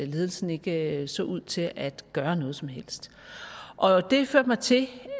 ledelsen ikke så ud til at gøre noget som helst det førte mig til